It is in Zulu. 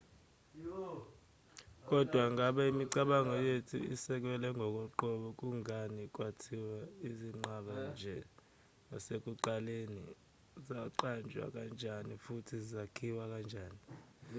kodwa ingabe imicabango yethu isekelwe ngokoqobo kungani kwakhiwa izinqaba nje kwasekuqaleni zaqanjwa kanjani futhi zakhiwa kanjani